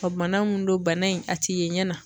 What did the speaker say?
Ɔ bana min don bana in a ti ye ɲɛ na